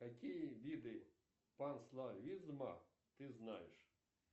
какие виды панславизма ты знаешь